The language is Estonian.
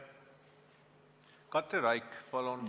Katri Raik, palun!